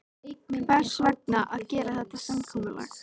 Hvers vegna að gera þetta samkomulag?